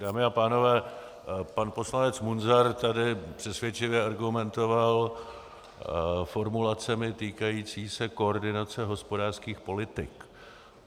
Dámy a pánové, pan poslanec Munzar tady přesvědčivě argumentoval formulacemi týkajícími se koordinace hospodářských politik.